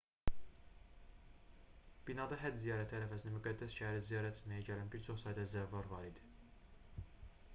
binada həcc ziyarəti ərəfəsində müqəddəs şəhəri ziyarət etməyə gələn bir çox sayda zəvvar var idi